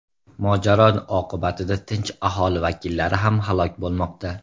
Mojaro oqibatida tinch aholi vakillari ham halok bo‘lmoqda.